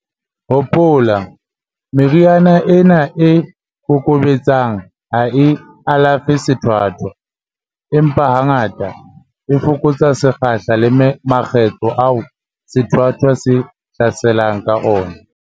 Hopola, meriana ena e kokobetsang ha e alafe sethwathwa, empa hangata, e fokotsa sekgahla le makgetlo ao sethwathwa se hlaselang ka ona.